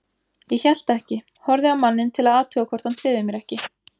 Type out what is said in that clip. Ég hélt ekki, horfði á manninn til að athuga hvort hann tryði mér ekki.